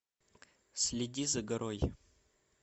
следи за горой